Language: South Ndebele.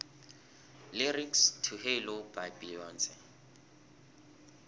lyrics to halo by beyonce